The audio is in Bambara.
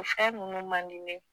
O fɛn nunnu man di ne ye